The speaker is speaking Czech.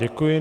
Děkuji.